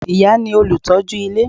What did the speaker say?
Ìyá ni olùtọ́jú ilé